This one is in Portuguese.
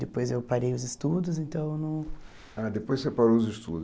Depois eu parei os estudos, então... Ah, depois você parou os estudos.